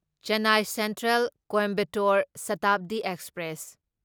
Chennai central Coimbatore Shatabdi express